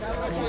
Keç.